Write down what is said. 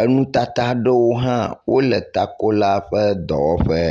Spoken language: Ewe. enu tata aɖewo hã wole takola ƒe dɔwɔƒe.